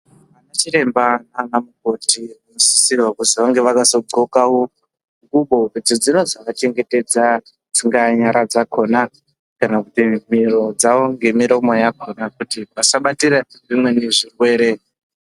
Vanachiremba naanamukoti vanosisirwa kuti vazodxokawo ngubo idzo dzinozovachengetedza, dzingaa nyara dzakhona, kana kuti miro dzawo, ngemiromo yakhona kuti vasabatire zvimweni zvirwere.